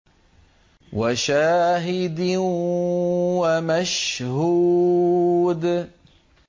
وَشَاهِدٍ وَمَشْهُودٍ